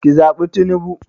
Ki zaɓi tinubu